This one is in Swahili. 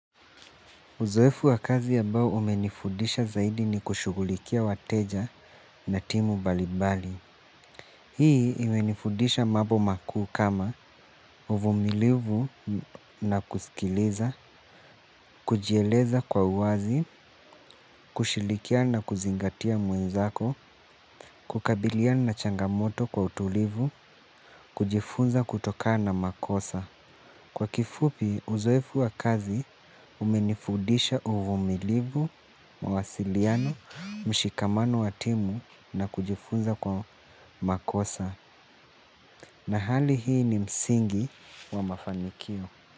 Uzoefu wa kazi ambao umenifudisha zaidi ni kushughulikia wateja na timu mbalimbali. Hii imenifundisha mambo makuu kama uvumilivu na kusikiliza, kujieleza kwa uwazi, kushirikiana na kuzingatia mwenzako, kukabiliana changamoto kwa utulivu, kujifunza kutokana na makosa. Kwa kifupi uzoefu wa kazi umenifudisha uvumilivu, mawasiliano, mshikamano wa timu na kujifunza kwa makosa. Na hali hii ni msingi wa mafanikio.